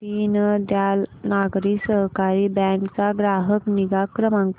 Deendayal Nagari Sahakari bank चा ग्राहक निगा क्रमांक